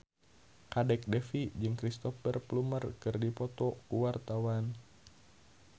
Kadek Devi jeung Cristhoper Plumer keur dipoto ku wartawan